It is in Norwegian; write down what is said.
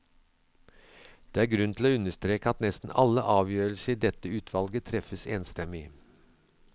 Det er grunn til å understreke at nesten alle avgjørelser i dette utvalget treffes enstemmig.